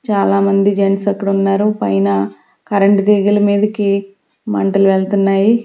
చాలామంది జెంట్స్ అక్కడ ఉన్నారు పైన కరెంటు తీగల మీదకి మంటలు వెళ్తున్నాయి.